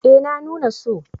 eh na nuna so